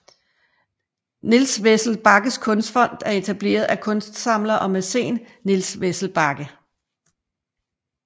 Niels Wessel Bagges Kunstfond er etableret af kunstsamler og mæcen Niels Wessel Bagge